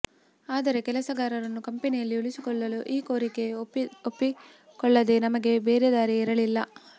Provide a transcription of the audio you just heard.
ಆದರೆ ಕೆಲಸಗಾರರನ್ನು ಕಂಪೆನಿಯಲ್ಲಿ ಉಳಿಸಿಕೊಳ್ಳಲು ಈ ಕೋರಿಕೆಗೆ ಒಪ್ಪಿಕೊಳ್ಳದೆ ನಮಗೆ ಬೇರೆ ದಾರಿಯೇ ಇರಲಿಲ್ಲ